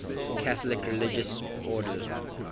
catholic religious order